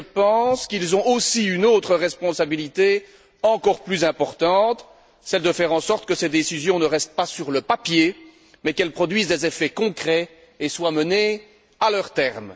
Mais je pense qu'ils ont aussi une autre responsabilité, encore plus importante celle de faire en sorte que ces décisions ne restent pas sur le papier mais qu'elles produisent des effets concrets et soient menées à leur terme.